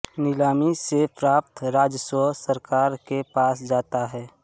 नीलामी से प्राप्त राजस्व सरकार के पास जाता है